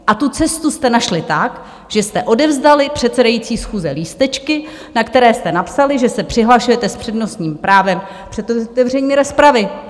A tu cestu jste našli tak, že jste odevzdali předsedající schůze lístečky, na které jste napsali, že se přihlašujete s přednostním právem před otevřením rozpravy.